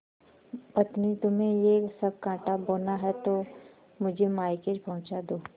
पत्नीतुम्हें यह सब कॉँटा बोना है तो मुझे मायके पहुँचा दो